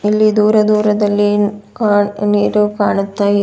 ಇಲ್ಲಿ ದೂರ ದೂರದಲ್ಲಿ ಅ ನೀರು ಕಾಣುತ್ತಾ ಇದೆ--